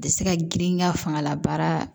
A tɛ se ka girinya fangala baara